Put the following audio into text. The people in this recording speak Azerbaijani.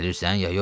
Gəlirsən ya yox?